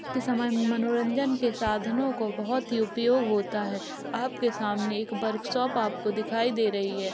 के समय मनोरंजन के साधनों को बहोत उपयोग होता है आपके सामने एक आपको वर्कशॉप दिखाई दे रही है।